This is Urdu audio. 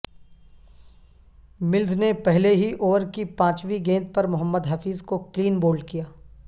ملز نے پہلے ہی اوور کی پانچویں گیند پر محمد حفیظ کو کلین بولڈ کیا